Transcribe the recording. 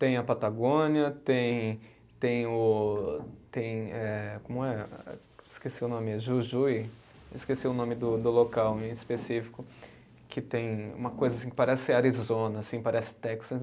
Tem a Patagônia, tem tem o, tem eh como é, esqueci o nome, Jujuy, esqueci o nome do do local em específico, que tem uma coisa que parece Arizona assim, parece Texas.